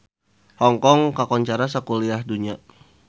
Hong Kong kakoncara sakuliah dunya